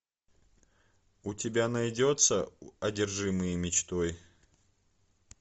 у тебя найдется одержимые мечтой